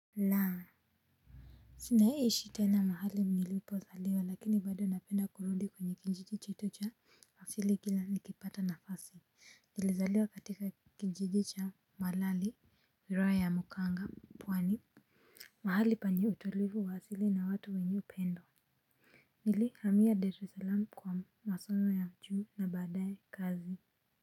Naam. Si naishi tena mahali nilipozaliwa lakini bado napenda kurudi kwenye kijiji chetu cha asili kila nikipata nafasi. Nilizaliwa katika kijiji cha mwalali, wilaya ya mkuranga pwani. Mahali penye utulivu wa asili na watu wenye upendo. Nilihamia Dar es salaam kwa masomo ya juu na baadae kazi.